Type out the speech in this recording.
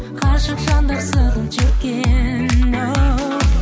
ғашық жандар сырын шерткен оу